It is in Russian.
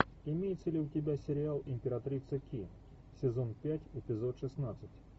имеется ли у тебя сериал императрица ки сезон пять эпизод шестнадцать